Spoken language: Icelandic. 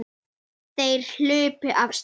Þeir hlupu af stað.